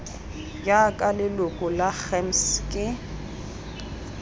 jaaka leloko la gems ke